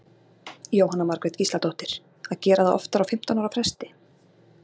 Jóhanna Margrét Gísladóttir: Að gera það oftar á fimmtán ára fresti?